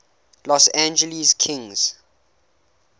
los angeles kings